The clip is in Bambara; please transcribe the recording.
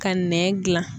Ka nɛn gilan